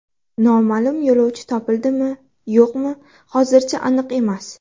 Noma’lum yo‘lovchi topildimi yo‘qmi hozirchi aniq emas.